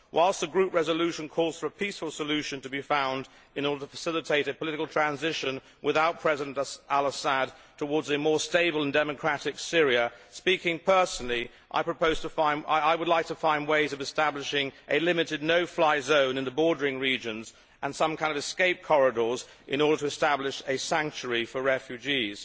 Whilst the Group resolution calls for a peaceful solution to be found in order to facilitate a political transition, without President al Assad, towards a more stable and democratic Syria, speaking personally I would like to find ways of establishing a limited no fly zone in the border regions and some kind of escape corridors, in order to create a sanctuary for refugees.